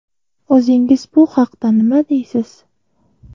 O‘zingiz bu haqda nima deysiz?